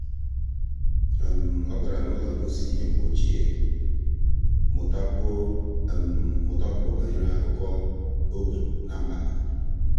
ọ́ gárá n’ụ́lọ́ ngosi ihe mgbe ochie iji mụ́takwuo mụ́takwuo banyere ákụ́kọ́ ógbè na mba.